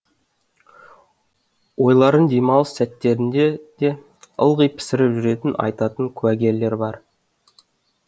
ойларын демалыс сәттерінде де ылғи пісіріп жүргенін айтатын куәгерлер бар